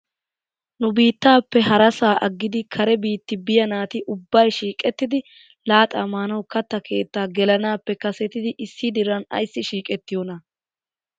Nu biittappe harasaa aggidi kare biitti biyaa naati ubbay shiiqettidi laaxxaa maanaw katta keettaa gelanaappe kasetidi issi diran ayssi shiiqettiyoonaa?